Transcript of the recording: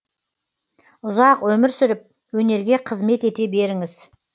ұзақ өмір сүріп өнерге қызмет ете беріңіз